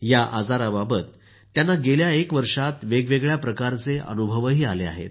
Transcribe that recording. या आजाराबाबत त्यांना गेल्या एक वर्षात वेगवेगळ्या प्रकारचे अनुभवही आले आहेत